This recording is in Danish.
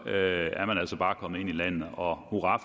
er man altså bare kommet ind i landet og hurra